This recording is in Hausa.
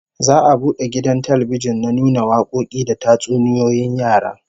Za'a bude gidan talbijin na nuna wakoki da tatsuniyoyin yara